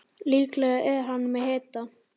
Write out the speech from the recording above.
Líklega er hann með hita.